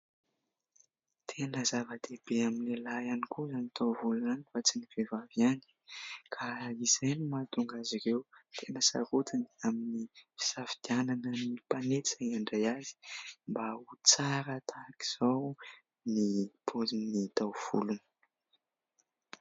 Tena zava-dehibe amin'ny lahy ihany koa ny taovolo fa tsy ny vehivavy ihany ka izay no mahatonga azy ireo tena sarotiny amin'ny fisafidianana ny mpanety izay mandray azy mba ho tsara tahaka izao ny paozin'ny taovolony.